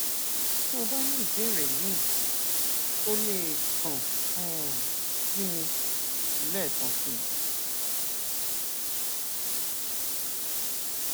tó o bá ní ìbéèrè míì o lè kàn um sí mi lẹẹkan sí i